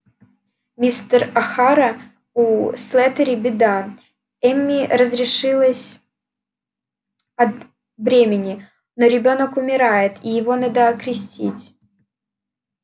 мистер охара у слэттери беда эмми разрешилась от бремени но ребёнок умирает и его надо окрестить